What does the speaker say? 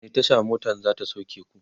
wani Tasha motan zata sauke ku?